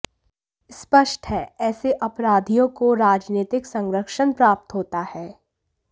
स्पष्ट है ऐसे अपराधियों को राजनीतिक संरक्षण प्राप्त होता है